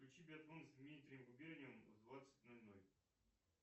включи биатлон с дмитрием губерниевым в двадцать ноль ноль